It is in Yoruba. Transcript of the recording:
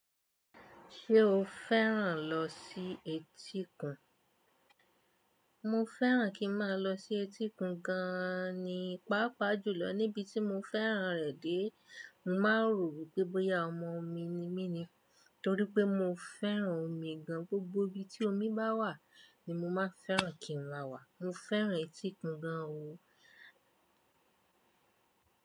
Ṣé o fẹ́ràn lọ sí etíkun? Mo fẹ́ràn kí n máa lọ sí etíkun gàn ní. Pápá jùlọ níbi tí mo fẹ́ràn rẹ̀ dé. Mo máa ń rò wípé bóyá ọmọ òmi ni mí ni, torí pé mo fẹ́ràn omí gán. Gbògbò íbí tí ómí bá wà ni mó máa fẹ́ràn kí n má wá. Mó fẹ́ràn etíkun gàn o.